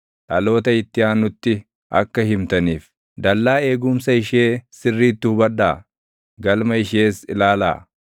Dhaloota itti aanutti akka himtaniif, dallaa eegumsa ishee sirriitti hubadhaa; galma ishees ilaalaa.